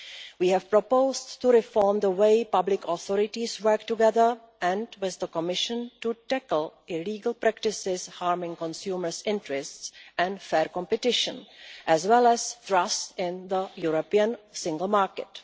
We have proposed to reform the way public authorities work together and, with the Commission, to tackle illegal practices harming consumers' interests and fair competition, as well as trust in the European single market.